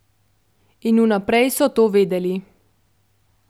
In vnaprej so to vedeli.